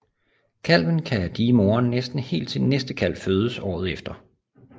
Kalven kan die moren næsten helt til næste kalv fødes året efter